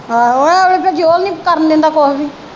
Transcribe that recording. ਆਹੋ ਇਹ ਵੇਲੇ ਫਿਰ ਜੌਹਨ ਨਹੀਂ ਕਰਨ ਦਿੰਦਾ ਕੁਝ ਵੀ